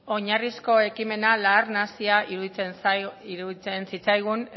oinarrizko ekimena lar nahasia iruditzen zitzaigun